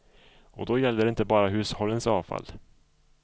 Och då gäller det inte bara hushållens avfall.